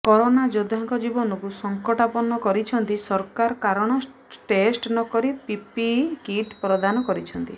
corona ଯୋଦ୍ଧାଙ୍କ ଜୀବନକୁ ସଙ୍କଟାପନ୍ନ କରିଛନ୍ତି ସରକାର କାରଣ ଟେଷ୍ଟ ନ କରି ପିପିଇ କିଟ୍ ପ୍ରଦାନ କରିିିଛନ୍ତି